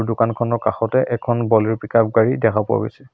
দোকানখনৰ কাষতে এখন বলেৰো পিক-আপ গাড়ী দেখা পোৱা গৈছে।